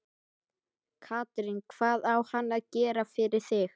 Katrín: Hvað á hann að gera fyrir þig?